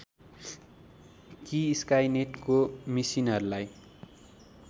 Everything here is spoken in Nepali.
कि स्काइनेटको मिसिनहरूलाई